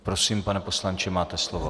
Prosím, pane poslanče, máte slovo.